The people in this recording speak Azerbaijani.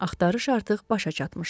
Axtarış artıq başa çatmışdı.